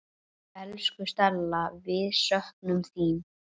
Elsku Stella, við söknum þín.